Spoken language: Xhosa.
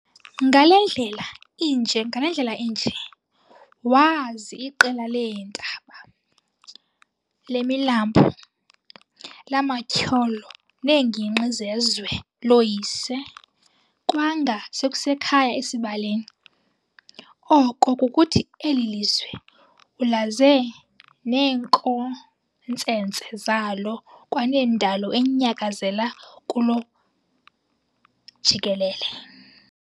Ngale ndlela inje waazi iqela leentaba, lemilambo, lamatyholo neengingqi zezwe looyise, kwanga sekusekhaya esibaleni, oko kukuthi eli lizwe ulaze neenkontsentse zalo kwanendalo enyakazela kulo jikelele.